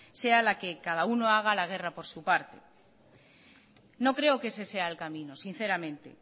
sea la que cada uno haga la guerra por su parte no creo que ese sea el camino sinceramente